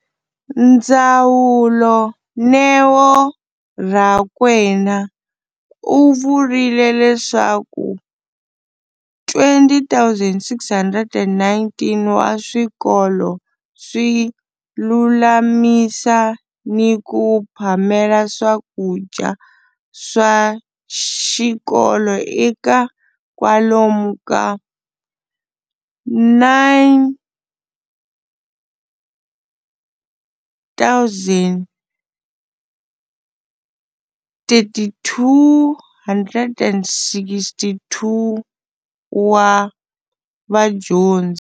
Ndzawulo, Neo Rakwena, u vurile leswaku 20 619 wa swikolo swi lulamisa ni ku phamela swakudya swa xikolo eka kwalomuya ka 9 032 622 wa vadyondzi